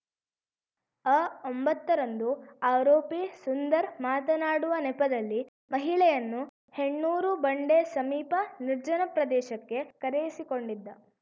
ಅಒಂಬತ್ತ ರಂದು ಆರೋಪಿ ಸುಂದರ್‌ ಮಾತನಾಡುವ ನೆಪದಲ್ಲಿ ಮಹಿಳೆಯನ್ನು ಹೆಣ್ಣೂರು ಬಂಡೆ ಸಮೀಪ ನಿರ್ಜನ ಪ್ರದೇಶಕ್ಕೆ ಕರೆಯಿಸಿಕೊಂಡಿದ್ದ